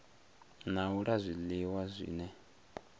na u la zwiliwa zwine